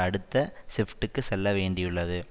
அடுத்த ஷிப்டுக்கு செல்ல வேண்டியுள்ளது